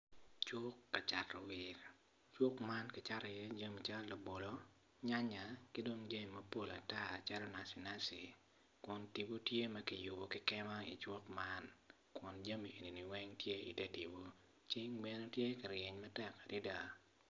Cuk kacato wil, cuk man kicato i ye jami calo labolo nyanya kidong jami mapol ata macalo nacinaci kun tipo tye makiyubo kikema i cuk man kun jami enini weng tye i ter tipo ceng bene tye ka ryeny matek adada.